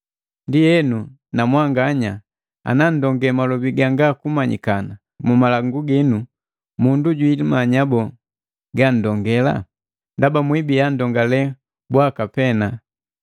Ndienu na mwanganya, ana nndonge malobi ganga kumanyikana mu malangu ginu, mundu jwiimanya boo ganndongela? Ndaba mwibiya nndongale bwaka pee.